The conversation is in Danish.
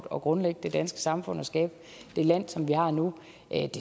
at grundlægge det danske samfund og skabe det land som vi har nu